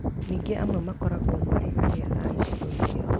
Ningĩ amwe makoragwo marĩ arĩa a icigo ciao